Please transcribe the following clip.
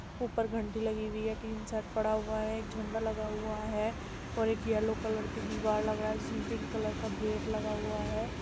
ऊपर घण्टी लगी हुई है टिन शेड पड़ा हुआ है। एक झण्डा लगा हुआ है और एक येलो कलर का दीवार लग रहा है जिसमे पिंक कलर का गेट लगा हुआ है।